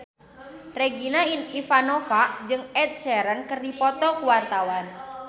Regina Ivanova jeung Ed Sheeran keur dipoto ku wartawan